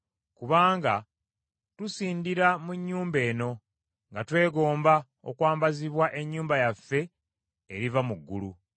Kubanga tusindira mu nnyumba eno, nga twegomba okwambazibwa ennyumba yaffe eriva mu ggulu.